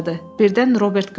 Birdən Robert qışqırdı.